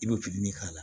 I bɛ k'a la